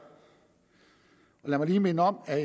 lad mig lige minde om at